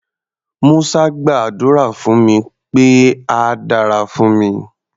Musa gbàdúrà fún mi pé á dára fún mi.